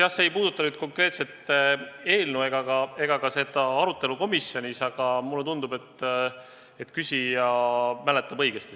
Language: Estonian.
Jah, see ei puuduta nüüd konkreetset eelnõu ega ka arutelu komisjonis, aga mulle tundub, et küsija mäletab seda õigesti.